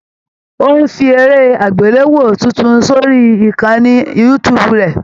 Ó ń fi eré àgbéléwò tuntun sórí ìkànnì youtube rẹ̀.